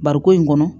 Bariko in kɔnɔ